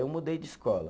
Eu mudei de escola.